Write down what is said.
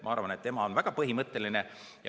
Ma arvan, et tema on väga põhimõtteline.